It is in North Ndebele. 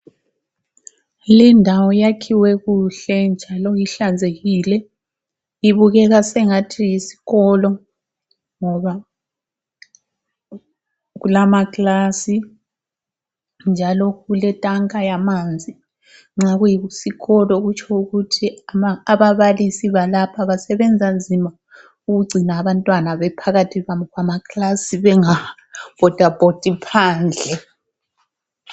Lindawo yakhiwe kuhle njalo ihlanzekile. Ibukeka sengathi yisikolo ngoba kulamaklasi njalo kuletanka yamanzi nxa kuyisikolo kutsho ukuthi ababalisi balapha basebenza nzima ukugcina abantwana be phakathi kwamakilasi bengabhoda bhodi phandle.